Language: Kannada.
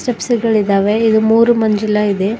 ಸ್ಟೆಪ್ಸ್ ಗಳಿದಾವೆ ಇದು ಮೂರು ಮಂಜುಳ ಇದೆ.